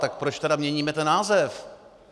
Tak proč tedy měníme ten název?